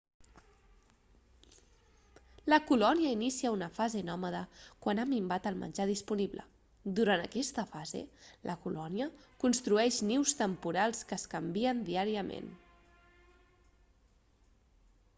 la colònia inicia una fase nòmada quan ha minvat el menjar disponible durant aquesta fase la colònia construeix nius temporals que es canvien diàriament